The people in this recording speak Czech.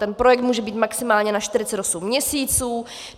Ten projekt může být maximálně na 48 měsíců.